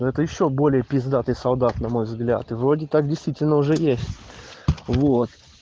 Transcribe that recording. но это ещё более пиздатый солдат на мой взгляд и вроде так действительно уже есть вот